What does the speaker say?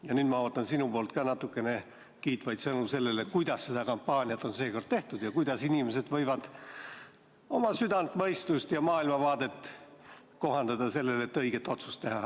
Ja nüüd ma ootan sinult ka natukene kiitvaid sõnu selle kohta, kuidas seda kampaaniat on seekord tehtud ja kuidas inimesed võivad oma südant, mõistust ja maailmavaadet kohandada, et õiget otsust teha.